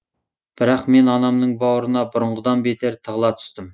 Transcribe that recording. бірақ мен анамның бауырына бұрынғыдан бетер тығыла түстім